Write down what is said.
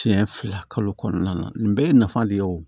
Siɲɛ fila kalo kɔnɔna na nin bɛɛ ye nafa de ye o